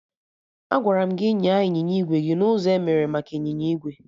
Agwara m gị nyaa ịnyịnya igwe gị n'ụzọ emere maka ịnyịnya igwe!